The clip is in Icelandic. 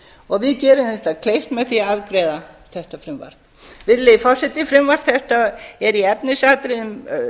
við gerum þeim það kleift með því að afgreiða þetta frumvarp virðulegi forseti frumvarp þetta er í efnisatriðum